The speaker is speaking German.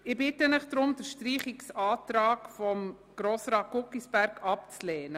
Deshalb bitte ich Sie, den Streichungsantrag von Grossrat Guggisberg abzulehnen.